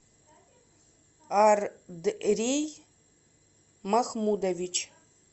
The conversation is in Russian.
андрей махмудович